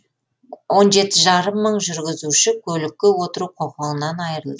он жеті жарым мың жүргізуші көлікке отыру құқығынан айырыл